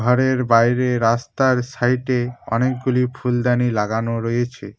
ঘরের বাইরে রাস্তার সাইডে অনেকগুলি ফুলদানি লাগানো রয়েছে।